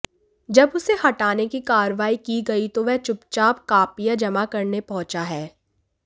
जब उसे हटाने की कार्रवाई की गई तो वह चुपचाप कॉपियां जमा करने पहुंचा है